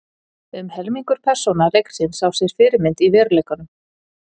Um helmingur persóna leiksins á sér fyrirmynd í veruleikanum.